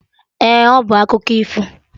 Ee, ọ bụ akụkọ ifo